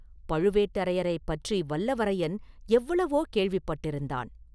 பழுவேட்டரையரைப் பற்றி வல்லவரையன் எவ்வளவோ கேள்விப்பட்டிருந்தான்.